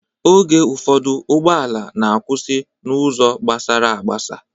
Oge ụfọdụ ụgbọala na-akwụsị n'ụzọ gabsara agbasa.